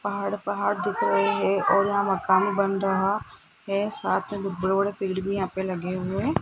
पहाड़ पहाड़ दिख रहे हैं और यहां मकान भी बन रहा है साथ मे बड़े बड़े बिल्डिंग यहां पे लगे पे लगे हुए --